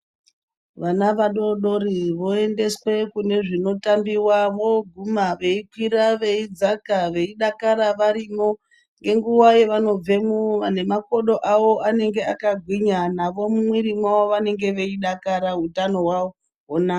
Vana vadodori voendeswe kunezvinotambiva voguma veikwira veidzaka veidakara varimwo. Ngenguva yavanobvemwo nemakodo avo anenge akagwinya navo mumwiri mwavo vanenge veidakara hutano hwonaka.